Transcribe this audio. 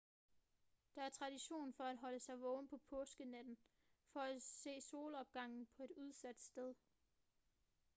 der er tradition for at holde sig vågen på påskenatten for at se solopgangen på et udsat sted